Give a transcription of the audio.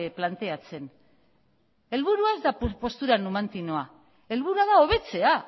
planteatzen helburua ez da postura numantinoa helburua da hobetzea